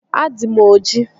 Adị m ojii